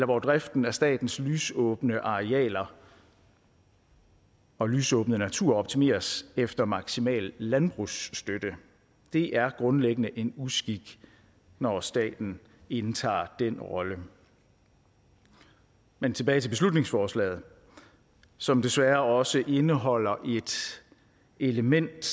for at driften af statens lysåbne arealer og lysåbne natur optimeres efter maksimal landbrugsstøtte det er grundlæggende en uskik når staten indtager den rolle men tilbage til beslutningsforslaget som desværre også indeholder et element